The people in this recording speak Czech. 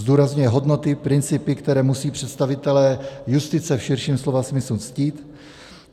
Zdůrazňuje hodnoty, principy, které musí představitelé justice v širším slova smyslu ctít.